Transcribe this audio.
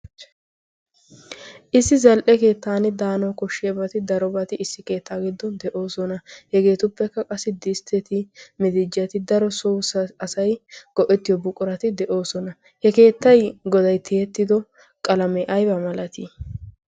issi zal77e keettan daana koshshiabati daro bati issi keettaa giddon de7oosona. hegeetuppekka qassi distteti mitijati daro so asai go7ettiyo buqurati de7oosona. he keettai godai tiyettido qalamee aiba malatii?